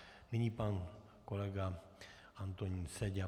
Nyní pan kolega Antonín Seďa.